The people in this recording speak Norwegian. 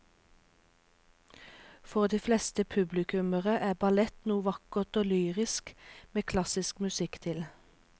For de fleste publikummere er ballett noe vakkert og lyrisk med klassisk musikk til.